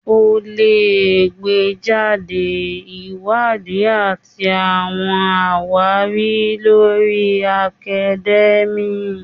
O le gbejade Iwadi ati awọn awari lori academia.